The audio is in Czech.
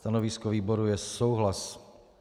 Stanovisko výboru je souhlasné.